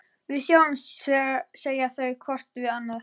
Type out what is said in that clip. Við sjáumst, segja þau hvort við annað.